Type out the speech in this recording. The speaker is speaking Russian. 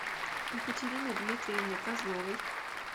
екатерины дмитриевны козловой